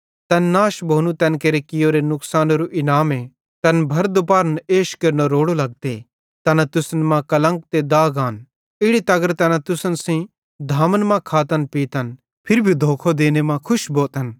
तैन नाश भोनू तैन केरे कियोरे नुकसानेरो इनामे तैन भर दूपार्न एश केरनो रोड़ो लगते तैना तुसन मां कलंक ते दाग आन इड़ी तगर कि तैना तुसन सेइं धामन मां खातनपीतन फिरी भी धोखो देने मां खुश भोतन